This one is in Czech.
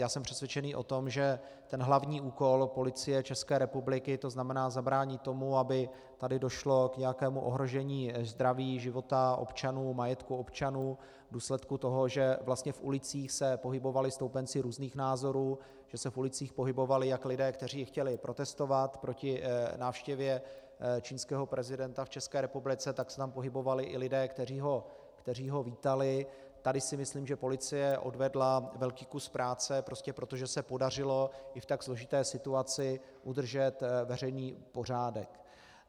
Já jsem přesvědčený o tom, že ten hlavní úkol Policie České republiky, to znamená zabránit tomu, aby tady došlo k nějakému ohrožení zdraví, života občanů, majetku občanů v důsledku toho, že vlastně v ulicích se pohybovali stoupenci různých názorů, že se v ulicích pohybovali jak lidé, kteří chtěli protestovat proti návštěvě čínského prezidenta v České republice, tak se tam pohybovali i lidé, kteří ho vítali, tady si myslím, že policie odvedla velký kus práce prostě proto, že se podařilo i v tak složité situaci udržet veřejný pořádek.